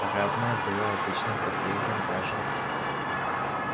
парадное было обычным подъездом даже